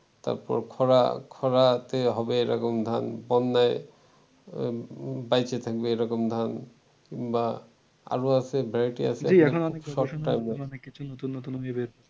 তারপর খরা খরাতে হবে এরকম ধান বন্যায় বাইচে থাকবে এরকম ধান কিংবা আরো আছে variety আছে